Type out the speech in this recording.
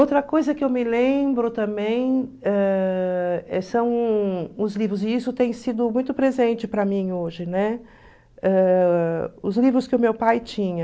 Outra coisa que eu me lembro também ãh são os livros, e isso tem sido muito presente para mim hoje, ãh os livros que o meu pai tinha.